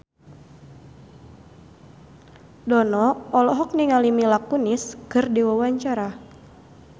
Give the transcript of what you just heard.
Dono olohok ningali Mila Kunis keur diwawancara